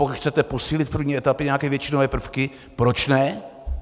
Pokud chcete posílit v první etapě nějaké většinové prvky, proč ne?